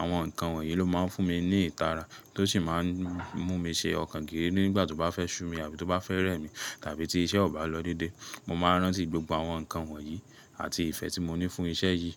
Àwọn nǹkan wọ̀nyí ló máa ń fún mi ní ìtara tó sì máa ń mú mi ṣe ọkàn gírí nígbà tó bá fẹ́ ṣu mi àbí tó bá fẹ́ rẹ́ mi tàbí tí iṣẹ́ ò bá lọ dédé. Mo máa rántí gbogbo àwọn nǹkan wọ̀nyí àti ìfẹ́ tí mo ní fún iṣẹ́ yìí.